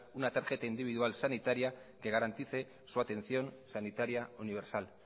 una tarjeta individual sanitaria que garantice su atención sanitaria universal